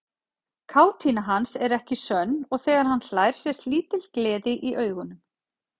Kátína hans er ekki sönn og þegar hann hlær sést lítil gleði í augunum.